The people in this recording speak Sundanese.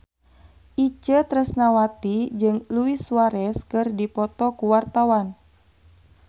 Itje Tresnawati jeung Luis Suarez keur dipoto ku wartawan